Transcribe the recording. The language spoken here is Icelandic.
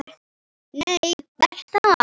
Nei, Bertha.